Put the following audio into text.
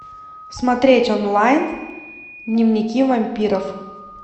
смотреть онлайн дневники вампиров